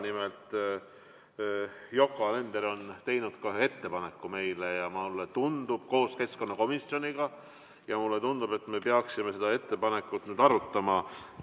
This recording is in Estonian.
Nimelt Yoko Alender on teinud koos keskkonnakomisjoniga meile ühe ettepaneku ja mulle tundub, et me peaksime seda ettepanekut nüüd arutama.